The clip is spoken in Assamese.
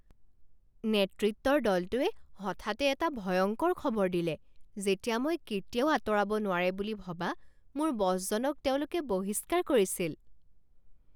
নেতৃত্বৰ দলটোৱে হঠাতে এটা ভয়ংকৰ খবৰ দিলে যেতিয়া মই কেতিয়াও আঁতৰাব নোৱাৰে বুলি ভবা মোৰ বছজনক তেওঁলোকে বহিস্কাৰ কৰিছিল।